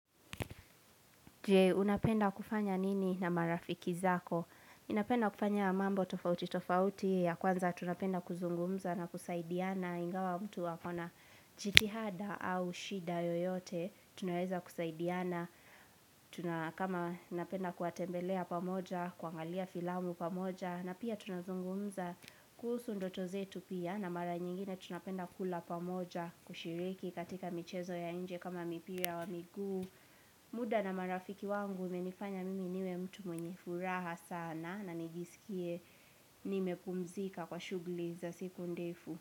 Je, unapenda kufanya nini na marafiki zako? Napenda kufanya mambo tofauti tofauti ya kwanza tu napenda kuzungumza na kusaidiana Ingawa mtu ako na jiitihada au shida yoyote Tunaeza kusaidiana kama napenda kuwatembelea pamoja, kuangalia filamu pamoja na pia tunazungumza kuhusu ndoto zetu pia na mara nyingine tunapenda kula pamoja kushiriki katika michezo ya nje kama mipira ya miguu muda na marafiki wangu umenifanya mimi niwe mtu mwenye furaha sana na nijisikie nimepuumzika kwa shughuli za siku ndefu.